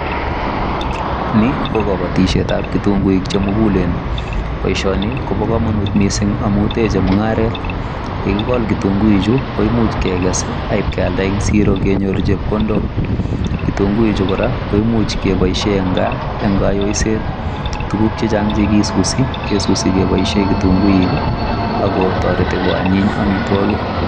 Ni ko kabatisyeet ab kitunguuik che mugulen boisioni kobaa kamanuut Missing amuun teche mungaret ye kigol kitunguuik chuu ko imuuch keges ak iib keyaldaa eng siroo kenyoor chepkondook kitunguuik chuu kora ko imuuch kebaisheen eng kaa en kayoiset tuguuk che chaang ingesusi kesusii kebaisheen kitunguuik ii ako taretii ko anyiin amitwagiik.